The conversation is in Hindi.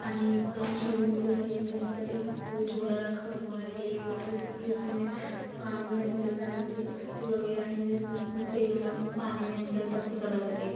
पानी का स्विमिंग पूल है जिस पर एक झूला रखा हुआ है और जैसे की उसमे पानी में अंदर जाने के लिए पट्टी वगैरा है जिसमे सेम पानी में अंदर तक घुसा जा सके।